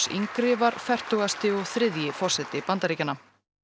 yngri var fertugasti og þriðji forseti Bandaríkjanna